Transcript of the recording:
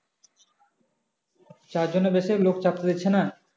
চারজনের বেশি লোক চাপতে দিচ্ছে না?